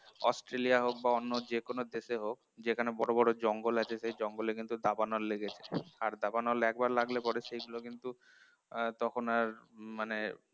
Australia হোক বা অন্য যে কোন দেশে হোক যেখানে বড় বড় জঙ্গল আছে সেই জঙ্গলে কিন্তু দাবানল লেগে যায়, আর দাবানল একবার লাগলে পরে সেইগুলো কিন্তু আহ তখন আর মানে